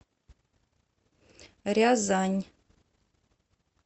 рязань